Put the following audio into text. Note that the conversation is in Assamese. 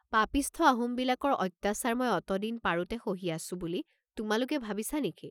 পাপীষ্ঠ আহোমবিলাকৰ অত্যাচাৰ মই অতদিন পাৰোঁতে সহি আছোঁ বুলি তোমালোকে ভাবিছা নে?